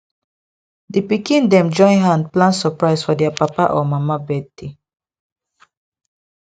di pikin dem join hand plan surprise for their papa or mama birthday